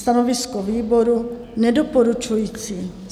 Stanovisko výboru: Nedoporučující.